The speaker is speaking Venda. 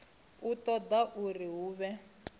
u ṱoḓa uri hu vhe